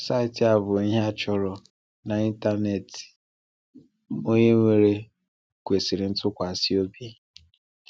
Saịtị a bụ ihe a chọrọ n’ịntanetị, onye nwere kwesiri ntụkwasi obi!